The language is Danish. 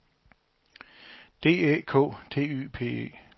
D Æ K T Y P E